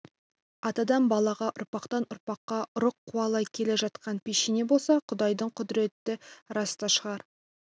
атадан балаға ұрпақтан-ұрпаққа ұрық қуалай келе жатқан пешене болса құдайдың құдіреті рас та шығар